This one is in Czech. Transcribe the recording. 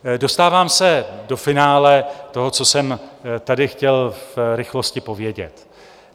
Dostávám se do finále toho, co jsem tady chtěl v rychlosti povědět.